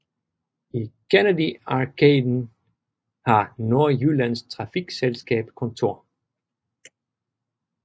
I Kennedy Arkaden har Nordjyllands Trafikselselskab kontor